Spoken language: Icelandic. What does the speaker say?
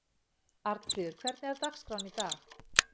Arnfríður, hvernig er dagskráin í dag?